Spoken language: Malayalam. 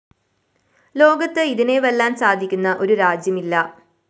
ലോകത്ത് ഇതിനെ വെല്ലാന്‍ സാധിക്കുന്ന ഒരു രാജ്യമില്ല